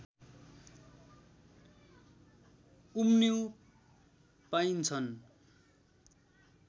उन्यु पाइन्छ्न्